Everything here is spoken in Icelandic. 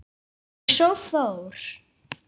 Og svo fór.